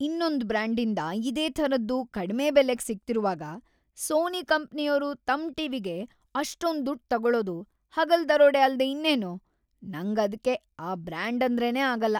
ಇನ್ನೊಂದ್ ಬ್ರಾಂಡಿಂದ ಇದೇ ಥರದ್ದು ಕಡ್ಮೆ ಬೆಲೆಗ್ ಸಿಗ್ತಿರುವಾಗ ಸೋನಿ ಕಂಪ್ನಿಯೋರು ತಮ್ ಟಿ.ವಿ.ಗೆ ‌ಅಷ್ಟೊಂದ್‌ ದುಡ್ಡ್‌ ತಗೊಳೋದು ಹಗಲ್‌ ದರೋಡೆ ಅಲ್ದೇ ಇನ್ನೇನು, ನಂಗ್‌ ಅದ್ಕೆ ಆ ಬ್ರಾಂಡಂದ್ರೇನೇ ಆಗಲ್ಲ.